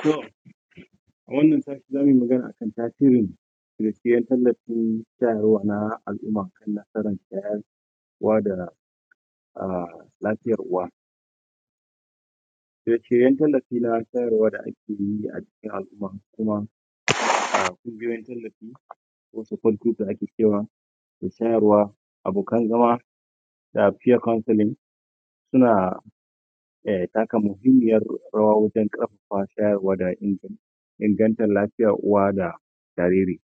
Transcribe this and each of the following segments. tom a wannan sati zamuyi magana akan tasirin mai siyan tallafin hmm al'umma kowa da lafiyar uwa yanke yanken tallafi da akeyi acikin alumma cibiyoyin tallafi da shayarwa zama komfani suna taka muhimmiyar rawa wajen karfafa shayarwa da akeyi in gantan uwa da jariri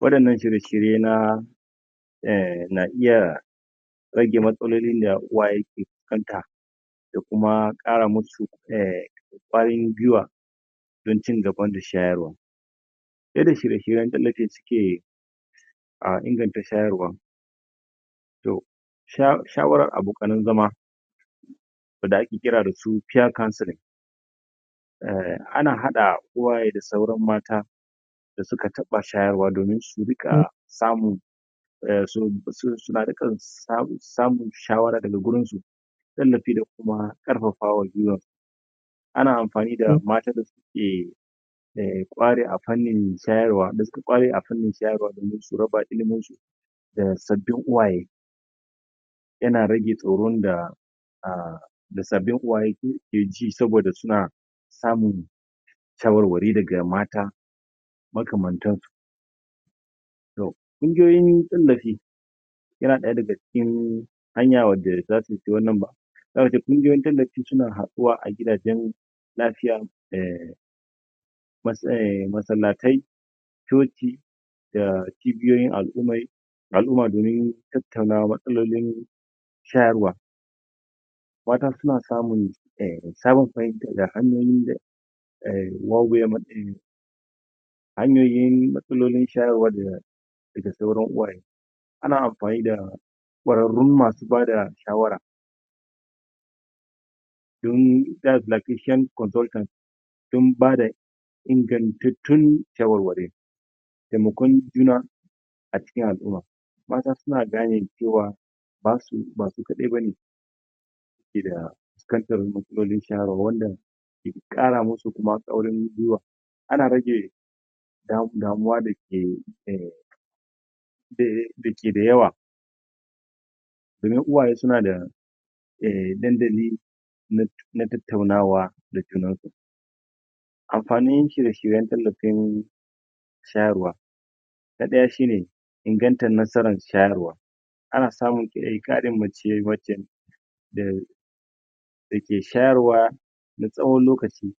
wadanna shirye shirye na na iya matsalolin da uwaye ke fuskanta da kuma kara susu kwarin gwuiwa don cin gaba da shayarwa irin shirye shiryen da suke inganta shayarwan to shawarar abokan zama wanda ake kira da su peer kancilin ana hada uwaye da sauran mata dasu ka taba shayarwa domin su riqa samun domin su rinqa samun shawara da ga wajensu tallafi da kuma karfafawan gwuiwa ana amfani da matan da suke da suka ƙware a fanin shayarwa da sabbin uwaye yana rage tsoron da sabin uwaye keji saboda suna shawarwari daga mata maka mantan su indai tallafi yana daya daga cikin hanya wanda yada ce kungiyoyin tallafi suna haduwa a gidajen lafiya masallatai coci da ciyoyin alummai da alumma domin tattauna matsalolin shayarwa don haka suna samun fahimtar aini hin matsalolin shayarwa daga sauran iyaye ana anfani da ƙwaren ru masu dun official consultant sun bada ingantattun shawarwari temakon juna acikin alumma mata suna gane cewa basu kadai bane ke da matsalolin shayarwar nan ya kuma kara musu karfin gwuiwa ana rage damuwa da da ke da yawa domin uwaye suna da dandalin na tattauna wa da junan su amfanin shirye shiryen tallafi shayarwa na daya shine ingantar nasarar shayarwa ana samun karin mace wacce da ke shayarwa na tsawon lokaci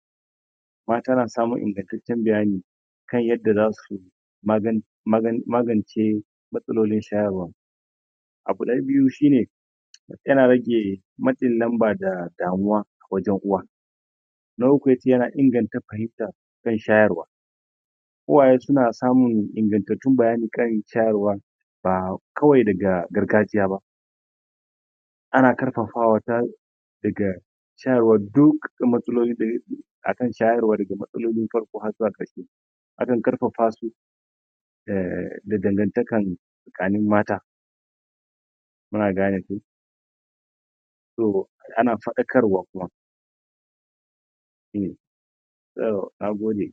mata na samun ingantaccen bayani kan yadda zasu maganin magance matsalolin shayrwan abu na biyu shine yana rage matsin lamba da damuwa wajen uwa na uku yana freedom wajen shayarwa uwaye suna samun ingantattun bayani kan shayarwa ba kawai daga gargajiya ba ana karfafawa daga shayarwa duk da matsalolin akan shayarwa da farko harzuwa karshe akan farfa su da dangartarkan tsakanin mata muna gane ko na fadakarwa kuma hm nagode